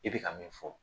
I bɛ ka min fɔ